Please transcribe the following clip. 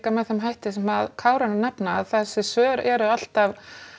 með þeim hætti sem Kári er að nefna að þessi svör eru alltaf